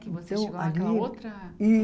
Que você chegou aquela outra